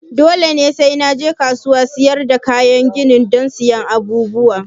Dole sai na je kasuwar siyar da kayan gini don siyan abubuwan?